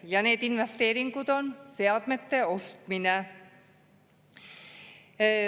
Ja need investeeringud on seadmete ostmised.